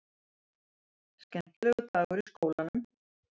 Skemmtilegur dagur í skólanum!